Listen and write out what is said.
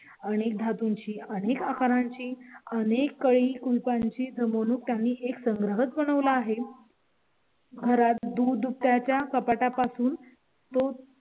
आणि धातूंची आणि आकारांची आणि कळी कुलपांची जम्मू खाणी एक संग्रह बनवला आहे. घरात दूध प्या च्या कापडा पासून तो